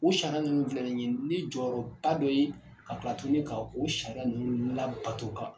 O sariya ninnu filɛ ni ye ni jɔyɔrɔba dɔ ye ka kila tuguni ka o sariya ninnu labato ka